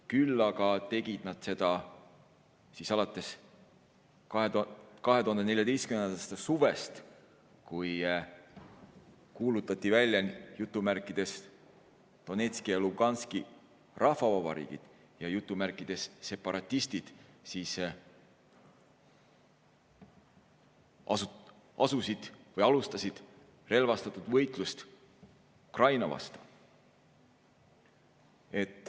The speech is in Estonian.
Küll aga tegid nad seda alates 2014. aasta suvest, kui kuulutati välja "Donetski ja Luganski rahvavabariigid" ja "separatistid" alustasid relvastatud võitlust Ukraina vastu.